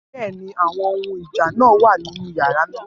Bẹ́ẹ̀ ni àwọn ohun ìjà náà wà nínú yàrá náà